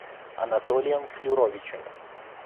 анатолием флюровичем